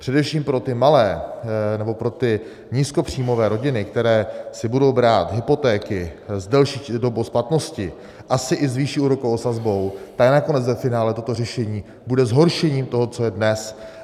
Především pro ty malé nebo pro ty nízkopříjmové rodiny, které si budou brát hypotéky s delší dobou splatnosti, asi i s vyšší úrokovou sazbou, tak nakonec ve finále toto řešení bude zhoršením toho, co je dnes.